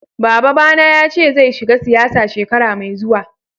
Baba ba na ya ce zai shiga siyasa shekara mai zuwa.